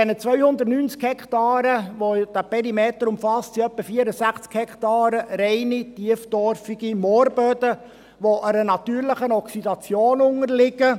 Von den 290 Hektaren, welche dieser Perimeter umfasst, sind etwa 64 Hektaren reine tieftorfige Moorböden, welche einer natürlichen Oxidation unterliegen.